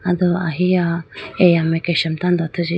aye do ahiya eya mai kesha tando athuji.